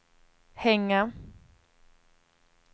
hänga